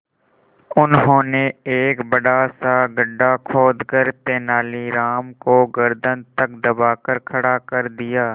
उन्होंने एक बड़ा सा गड्ढा खोदकर तेलानी राम को गर्दन तक दबाकर खड़ा कर दिया